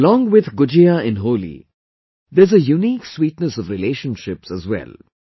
Along with Gujiya in Holi, there is a unique sweetness of relationships as well